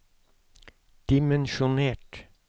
dimensjonert